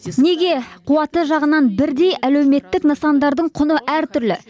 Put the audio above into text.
неге қуаты жағынан бірдей әлеуметтік нысандардың құны әртүрлі